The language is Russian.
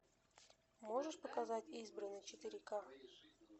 можешь показать избранный четыре ка